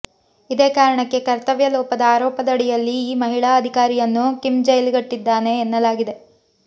ಇದೇ ಕಾರಣಕ್ಕೆ ಕರ್ತವ್ಯ ಲೋಪದ ಆರೋಪಡಿಯಲ್ಲಿ ಈ ಮಹಿಳಾ ಅಧಿಕಾರಿಯನ್ನು ಕಿಮ್ ಜೈಲಿಗಟ್ಟಿದ್ದಾನೆ ಎನ್ನಲಾಗಿದೆ